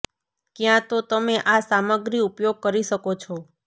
ક્યાં તો તમે આ સામગ્રી ઉપયોગ કરી શકો છો